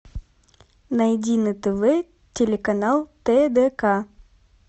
найди на тв телеканал тдк